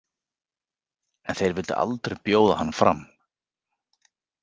En þeir vildu aldrei bjóða hann fram.